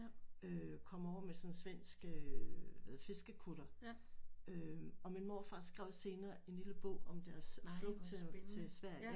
Øh kom over med sådan en svensk øh fiskekutter øh og min morfar skrev senere en lille bog om deres flugt til Sverige